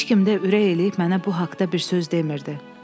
Heç kim də ürək eləyib mənə bu haqda bir söz demirdi.